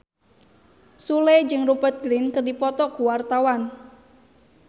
Sule jeung Rupert Grin keur dipoto ku wartawan